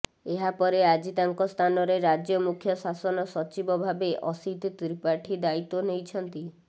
ଏହାପରେ ଆଜି ତାଙ୍କ ସ୍ଥାନରେ ରାଜ୍ୟ ମୁଖ୍ୟ ଶାସନ ସଚିବ ଭାବେ ଅସିତ୍ ତ୍ରିପାଠୀ ଦାୟୀତ୍ୱ ନେଇଛନ୍ତି